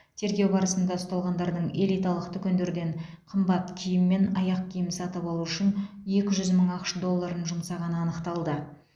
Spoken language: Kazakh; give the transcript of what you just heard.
тергеу барысында ұсталғандардың элиталық дүкендерден қымбат киім мен аяқ киім сатып алу үшін екі жүз мың ақш долларын жұмсағаны анықталды